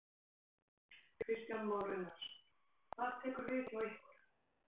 Kristján Már Unnarsson: Hvað tekur við hjá ykkur?